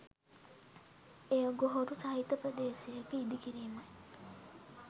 එය ගොහොරු සහිත ප්‍රදේශයක ඉදි කිරීමයි.